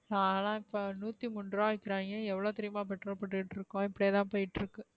நாங்கலாம் இப்ப நூத்திமூன்றுபா விக்கிறாங்க எவ்ளோக்கு தெரியுமா petrol போட்டுட்டு இருக்கோம் இப்டியே தான் போய்ட்டு இருக்கு.